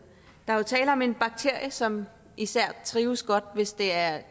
der er jo tale om en bakterie som især trives godt hvis der er